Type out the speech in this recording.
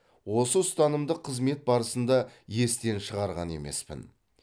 осы ұстанымды қызмет барысында естен шығарған емеспін